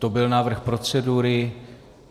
To byl návrh procedury.